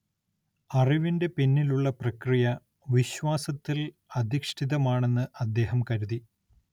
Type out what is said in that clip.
അറിവിന്റെ പിന്നിലുള്ള പ്രക്രിയ, വിശ്വാസത്തിൽ അധിഷ്ഠിതമാണെന്ന് അദ്ദേഹം കരുതി.